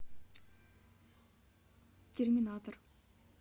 терминатор